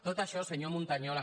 tot això senyor montañola